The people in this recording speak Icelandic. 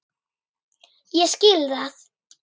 Ég skil það!